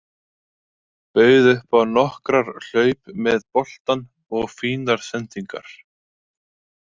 Bauð upp á nokkrar hlaup með boltann og fínar sendingar.